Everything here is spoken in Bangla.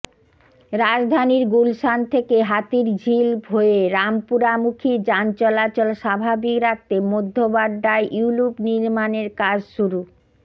রাজধানীর গুলশান থেকে হাতিরঝিল হয়ে রামপুরামুখী যান চলাচল স্বাভাবিক রাখতে মধ্যবাড্ডায় ইউলুপ নির্মাণের কাজ শুরু